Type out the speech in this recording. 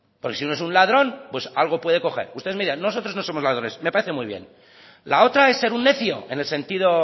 porque si uno es un ladrón algo puede coger ustedes me dirán nosotros no somos ladrones me parece muy bien la otra es ser un necio en el sentido